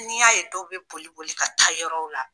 Ni y'a ye dɔw be boli boli ka taa yɔrɔw la.